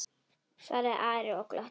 svaraði Ari og glotti.